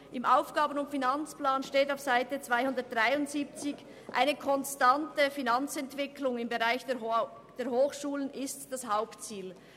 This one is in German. Im AFP steht auf Seite 273, eine konstante Finanzentwicklung im Bereich der Hochschulen sei das Hauptziel.